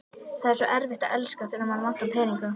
Það er svo erfitt að elska, þegar mann vantar peninga